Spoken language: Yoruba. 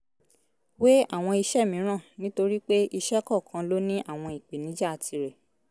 wé àwọn iṣẹ́ mìíràn nítorí pé iṣẹ́ kọ̀ọ̀kan ló ní àwọn ìpèníjà tirẹ̀